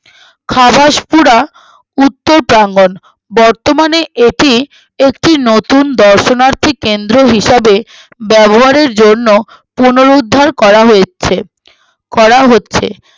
খাবাসপুরা উত্তর প্রাঙ্গন বর্তমানে এটি একটি নপিটুন দর্শনার্থীক কেন্দ্র হিসাবে ব্যবহারের জন্য পুনরুদ্ধার করা হয়েছে করাও হচ্ছে